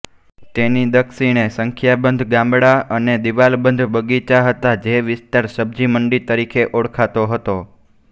તેની દક્ષિણે સંખ્યાબંધ ગામડાં અને દીવાલબંધ બગીચા હતા જે વિસ્તાર સબ્ઝી મંડી તરીકે ઓળખાતો હતો